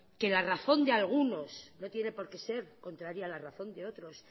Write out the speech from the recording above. que la razón de algunos no tiene por qué ser contraria a la razón de otros